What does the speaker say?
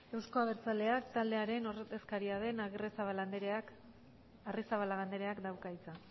euzko abertzaleak taldearen ordezkaria den arrizabalaga andreak dauka hitza